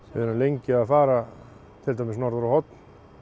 erum lengi að fara til dæmis norður á Horn